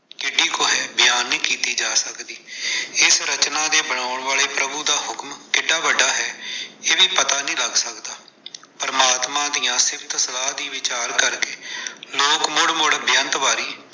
ਕਿੱਡੀ ਕੁ ਹੈ, ਬਿਆਨ ਨੀਂ ਕੀਤੀ ਜਾ ਸਕਦੀ, ਏਸ ਰਚਨਾ ਦੇ ਬਣਾਉਣ ਵਾਲੇ ਪ੍ਰਭੂ ਦਾ ਹੁਕਮ ਕਿੱਡਾ ਵੱਡਾ ਹੈ, ਇਹ ਵੀ ਪਤਾ ਨਹੀਂ ਲੱਗ ਸਕਦਾ, ਪਰਮਾਤਮਾ ਦੀਆਂ ਸਿਫਤ ਸਲਾਹ ਦੀ ਵਿਚਾਰ ਕਰਕੇ, ਲੋਕ ਮੁੜ-ਮੁੜ ਬੇਅੰਤ ਵਾਰੀ।